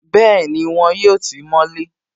Bẹ́ẹ̀ni, wọn yóò tí mọ́ lé